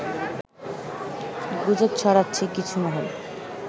গুজব ছড়াচ্ছে কিছু মহল